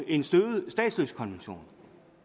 en støvet statsløsekonvention